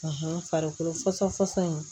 farikolo fasɔ fɔsɔn in